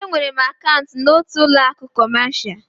Enwere m akaụntụ n'otu ụlọ akụ kọmasia.